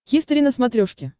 хистори на смотрешке